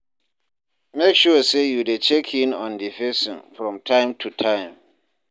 Make sure say you de check in on di persin from time to time